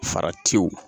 Faratiw